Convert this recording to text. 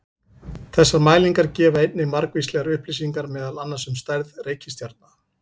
Þessar mælingar gefa einnig margvíslegar upplýsingar meðal annars um stærð reikistjarna.